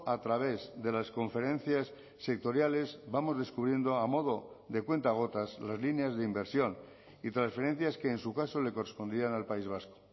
a través de las conferencias sectoriales vamos descubriendo a modo de cuenta gotas las líneas de inversión y transferencias que en su caso le correspondían al país vasco